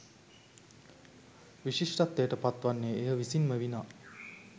විශිෂ්ටත්වයට පත් වන්නේ එය විසින් ම විනා